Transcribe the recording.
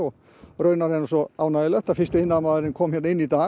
raunar er svo ánægjulegt að fyrsti iðnaðarmaðurinn kom hérna inn í dag